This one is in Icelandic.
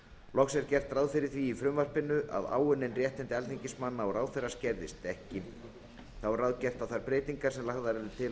loks er gert ráð fyrir því í frumvarpinu að áunnin réttindi alþingismanna og ráðherra skerðist ekki þá er ráðgert að þær breytingar sem lagðar eru til